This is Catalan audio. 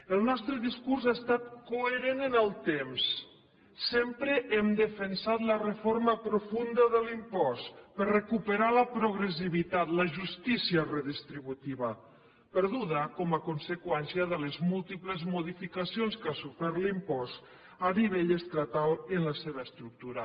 el nostre discurs ha estat coherent en el temps sempre hem defensat la reforma profunda de l’impost per recuperar la progressivitat la justícia redistributiva perduda com a conseqüència de les múltiples modificacions que ha sofert l’impost a nivell estatal en la seva estructura